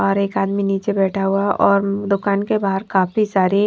और एक आदमी नीचे बैठा हुआ है और दुकान के बाहर काफी सारे --